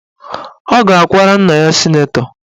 Ọ ga-akwara nna ya sịnetọ